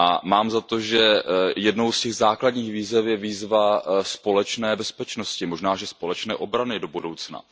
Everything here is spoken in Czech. Mám za to, že jednou z těch základních výzev je výzva společné bezpečnosti, možná že společné obrany do budoucna.